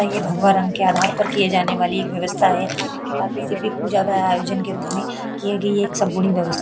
अ ये भगवा रंग के आधार पर किये जाने वाली एक व्यवस्था है तथा किसी भी पूजा द्वारा आयोजन के रूप में किये गई एक संपुर्णिम व्यवस --